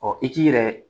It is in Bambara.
Ɔ i k'i yɛrɛ